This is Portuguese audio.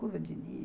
Curva de nível.